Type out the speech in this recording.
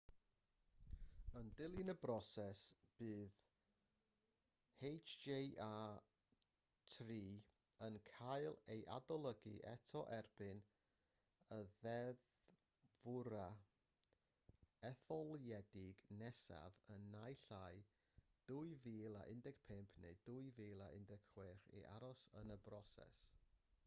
yn dilyn y broses bydd hjr-3 yn cael ei adolygu eto erbyn y ddeddfwrfa etholedig nesaf yn naill ai 2015 neu 2016 i aros yn y broses